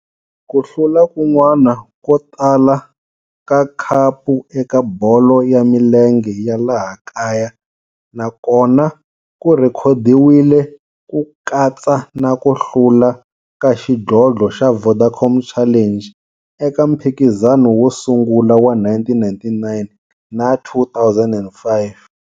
Ku hlula kun'wana ko tala ka khapu eka bolo ya milenge ya laha kaya na kona ku rhekhodiwile, ku katsa na ku hlula ka xidlodlo xa Vodacom Challenge eka mphikizano wo sungula wa 1999 na 2005.